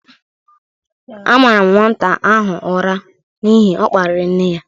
A mara m nwata ahụ ụra n'ihi ọ kpariri nne ya